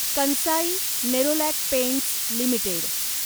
Kansai Nerolac paints limited